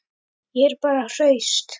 Ég er bara hraust.